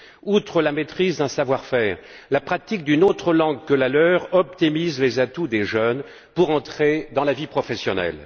Outre la maîtrise d'un savoir faire, la pratique d'une autre langue que la leur optimise les atouts des jeunes pour entrer dans la vie professionnelle.